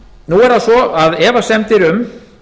nú er það svo að efasemdir um